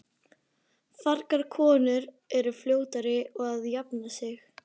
Fagrar konur eru fljótari að jafna sig.